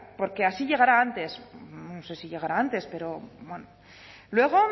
porque así llegará antes no sé si llegará antes pero bueno luego